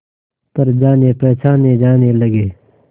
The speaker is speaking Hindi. पर जानेपहचाने जाने लगे